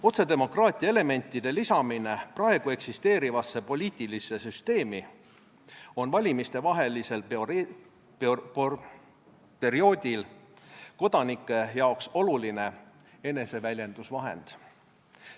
Otsedemokraatia elementide lisamine praegu eksisteerivasse poliitilisse süsteemi on valimistevahelisel perioodil kodanike jaoks oluline eneseväljendusvahend.